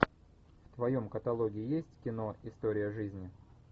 в твоем каталоге есть кино история жизни